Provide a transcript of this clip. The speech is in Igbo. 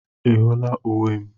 Ị hụla uwe m?